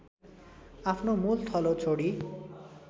आफ्नो मूलथलो छोडी